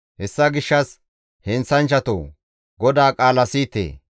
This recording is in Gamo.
Hessa gishshas heenththanchchatoo, GODAA qaala siyite!